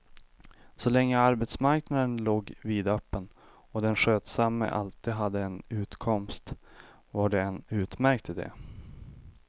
Så länge arbetsmarknaden låg vidöppen och den skötsamme alltid hade en utkomst var det en utmärkt ide.